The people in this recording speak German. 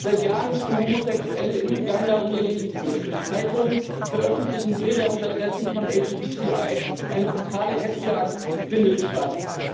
Seit Jahren müssen Homosexuelle in Uganda um ihr Leben fürchten. Zeitungen veröffentlichen Bilder und Adressen von LGBTI, eine brutale Hetzjagd findet statt.